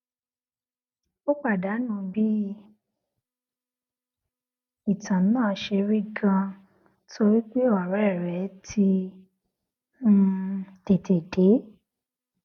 o padanu bí ìtàn náà ṣe rí ganan torí pé òré rè ti um tètè dé